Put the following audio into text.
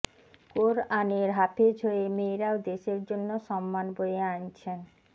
কোরআনের হাফেজ হয়ে মেয়েরাও দেশের জন্য সম্মান বয়ে আনছেন